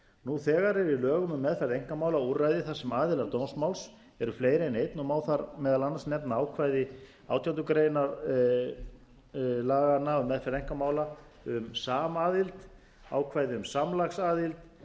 nú þegar er í lögum um meðferð einkamála úrræði þar sem aðilar dómsmáls eru fleiri en einn og má þar meðal annars nefna ákvæði átjándu grein laganna um meðferð einkamála um samaðild ákvæði um